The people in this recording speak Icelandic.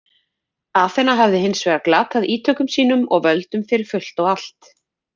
Aþena hafði hins vegar glatað ítökum sínum og völdum fyrir fullt og allt.